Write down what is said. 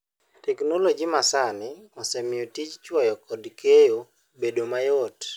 Teknoloji masani osemiyo tij chwoyo kod keyo obedo mayot.